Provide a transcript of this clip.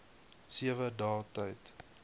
sewe dae tyd